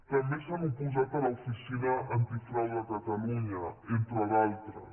també s’han oposat a l’oficina antifrau de catalunya entre d’altres